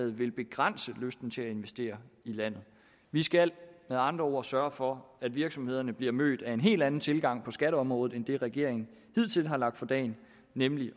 vil begrænse lysten til at investere i landet vi skal med andre ord sørge for at virksomhederne bliver mødt af en helt anden tilgang på skatteområdet end den regeringen hidtil har lagt for dagen nemlig